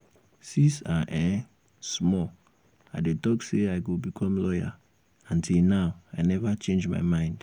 since i um small i dey talk say i go become lawyer and till now i never change my mind